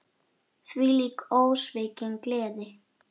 Þvílík, ósvikin gleði.